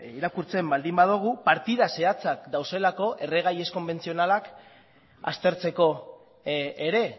irakurtzen baldin badugu partida zehatzak daudelako erregai ez konbentzionalak aztertzeko ere